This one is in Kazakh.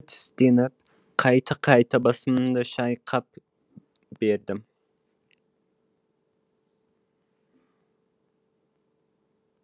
тістеніп қайта қайта басымды шайқап бердім